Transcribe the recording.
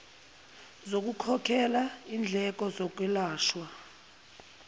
zokukhokhela indleko zokwelashwa